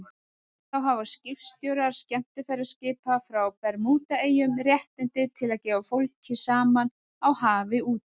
Þá hafa skipstjórar skemmtiferðaskipa frá Bermúdaeyjum réttindi til að gefa fólk saman á hafi úti.